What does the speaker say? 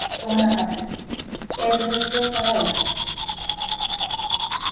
Jóhanna Margrét: Eru þau fljót að læra?